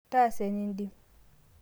taasa enindim